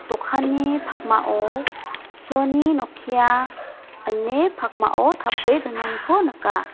dokanni pakmao soni nokia ine pakmao tape donaniko nika.